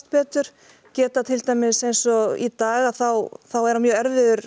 betur geta til dæmis eins og í dag þá er hann mjög erfiður